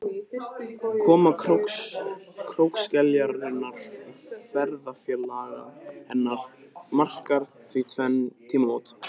Koma krókskeljarinnar og ferðafélaga hennar markar því tvenn tímamót.